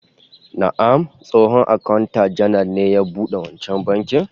Na'am, tsohon akanta janar ne ya bude wancan bankin